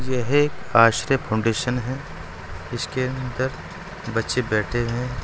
ये हे आसरे फाउंडेशन है जिसके अंदर बच्चे बैठे हैं।